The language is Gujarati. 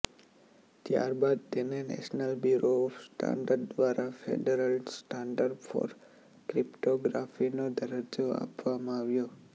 ત્યારબાદ તેને નેશનલ બ્યુરો ઓફ સ્ટાન્ડર્ડ દ્વારા ફેડરલ સ્ટાન્ડર્ડ ફોર ક્રિપ્ટોગ્રાફીનો દરજ્જો આપવામાં આવ્યો